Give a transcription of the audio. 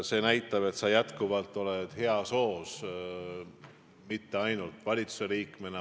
See näitab, et sa oled jätkuvalt heas hoos ka Riigikogu liikmena ja mitte enam valitsuse liikmena.